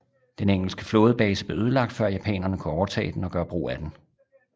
Den engelske flådebase blev ødelagt før japanerne kunne overtage den og gøre brug af den